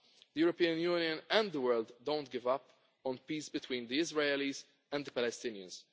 give up. The European Union and the world do not give up on peace between the Israelis and the Palestinians.